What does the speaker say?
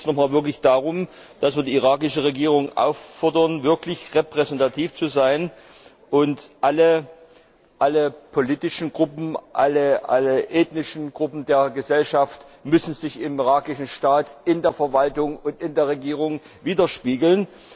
Dort geht es noch einmal darum, dass wir die irakische Regierung auffordern, wirklich repräsentativ zu sein, denn alle politischen Gruppen, alle ethnischen Gruppen der Gesellschaft müssen sich im irakischen Staat in der Verwaltung und in der Regierung widerspiegeln.